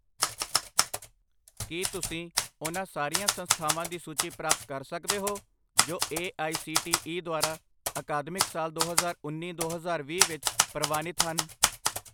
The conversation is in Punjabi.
ਕੀ ਤੁਸੀਂ ਉਹਨਾਂ ਸਾਰੀਆਂ ਸੰਸਥਾਵਾਂ ਦੀ ਸੂਚੀ ਪ੍ਰਾਪਤ ਕਰ ਸਕਦੇ ਹੋ ਜੋ A I C T E ਦੁਆਰਾ ਅਕਾਦਮਿਕ ਸਾਲ ਦੋ ਹਜ਼ਾਰ ਉੰਨੀ ਦੋ ਹਜ਼ਾਰ ਵੀਹ ਵਿੱਚ ਪ੍ਰਵਾਨਿਤ ਹਨ?